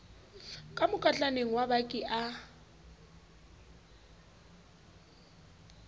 ka mokotlaneng wa baki a